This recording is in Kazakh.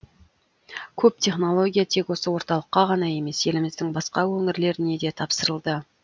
көп технология тек осы орталыққа ғана емес еліміздің басқа өңірлеріне де тапсырылды